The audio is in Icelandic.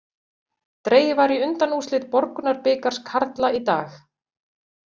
Dregið var í undanúrslit Borgunarbikars karla í dag.